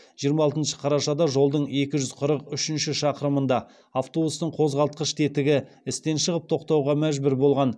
жиырма алтыншы қарашада жолдың екі жүз қырық үшінші шақырымында автобустың қозғалтқыш тетігі істен шығып тоқтауға мәжбүр болған